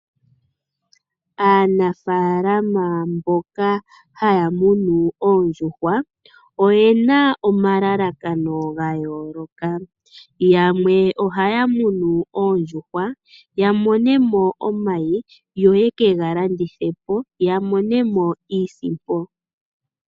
Aanafalama mboka haya munu oondjuhwa, oyena omalalakano gayoolokathana. Yamwe ohaya munu oondjuhwa, yamonemo omayi, yo yeke galandithepo, opo yamonemo iisimpo.